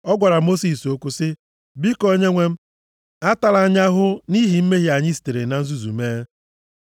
ọ gwara Mosis okwu sị, “Biko, onyenwe m, atala anyị ahụhụ nʼihi mmehie anyị sitere na nzuzu mee.